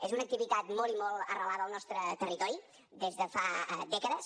és una activitat molt i molt arrelada al nostre territori des de fa dècades